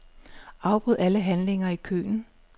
Afbryd alle handlinger i køen.